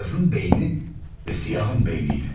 Beyazın beyni və siyahın beyniyle.